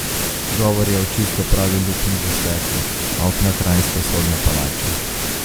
Govor je o čisto pravi luknji v steklu okna kranjske sodne palače.